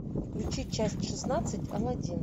включи часть шестнадцать аладдин